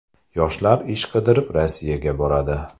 Yoshlar ish qidirib Rossiyaga boradi.